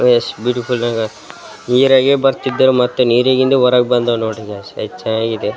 ನೀರಾಗೆ ಬರ್ತಿದ್ದರ್ ಮತ್ತು ನೀರಿನಿಂದ ಹೊರಗ್ ಬಂದವ್ ನೋಡ್ರಿ ಗಾಯ್ಸ ಎಷ್ಚ್ ಚೆನ್ನಾಗಿದೆ .